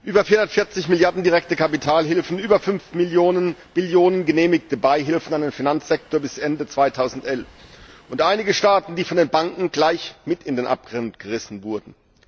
Über 440 Milliarden Euro direkte Kapitalhilfen, über 5 Billionen Euro genehmigte Beihilfen an den Finanzsektor bis Ende 2011 und einige Staaten, die von den Banken gleich mit in den Abgrund gerissen wurden.